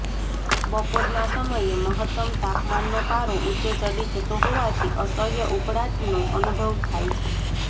બપોરના સમયે મહત્તમ તાપમાનનો પારો ઉંચે ચડી જતો હોવાથી અસહ્ય ઉકળાટનો અનુભવ થાય છે